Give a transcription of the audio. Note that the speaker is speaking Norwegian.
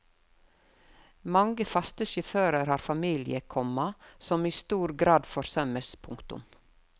Mange faste sjåfører har familie, komma som i stor grad forsømmes. punktum